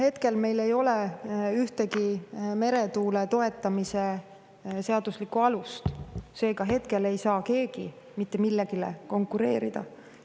Hetkel meil ei ole ühtegi meretuule toetamise seaduslikku alust, seega hetkel ei saa keegi mitte millelegi konkureerida.